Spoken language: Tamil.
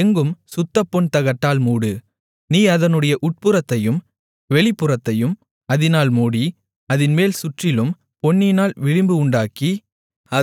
அதை எங்கும் சுத்தப்பொன் தகட்டால் மூடு நீ அதனுடைய உட்புறத்தையும் வெளிப்புறத்தையும் அதனால் மூடி அதின்மேல் சுற்றிலும் பொன்னினால் விளிம்பு உண்டாக்கி